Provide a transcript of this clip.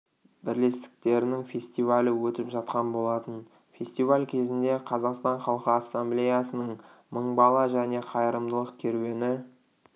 бірлестіктерінің фестивалі өтіп жатқан болатын фестиваль кезінде қазақстан халқы ассамблеясының мың бала және қайырымдылық керуені